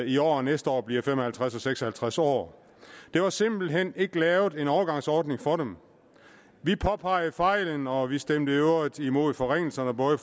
i år og næste år bliver fem og halvtreds og seks og halvtreds år der var simpelt hen ikke lavet en overgangsordning for dem vi påpegede fejlen og vi stemte i øvrigt imod forringelserne både